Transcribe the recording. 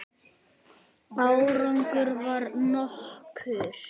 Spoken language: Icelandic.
Árangur varð nokkur.